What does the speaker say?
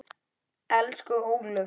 Elsku Ólöf.